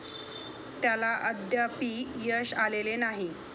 त्याला अद्यापि यश आलेले नाही.